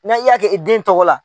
Na i y'a kɛ i den tɔgɔ la.